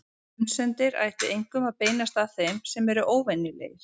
Grunsemdir ættu einkum að beinast að þeim sem eru óvenjulegir.